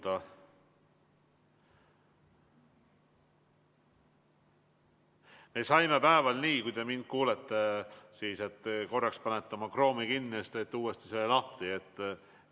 Me saime päeval nii – kui te mind kuulete –, et te panete korraks oma Chrome'i kinni ja siis teete selle uuesti lahti.